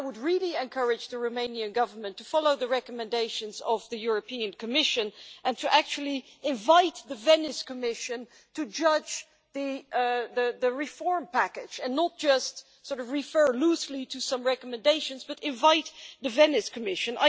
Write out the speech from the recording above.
I would really encourage the Romanian Government to follow the recommendations of the European Commission and to invite the Venice Commission to judge the reform package not just refer loosely to some recommendations but invite the Venice Commission.